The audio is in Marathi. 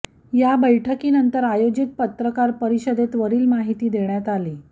या बैठकी नंतर आयोजित पत्रकार परिषदेत वरील माहिती देण्यात आली